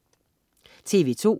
TV2: